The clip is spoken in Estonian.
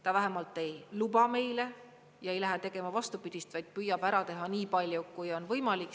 Ta vähemalt ei luba meile ja ei lähe tegema vastupidist, vaid püüab ära teha nii palju, kui on võimalik.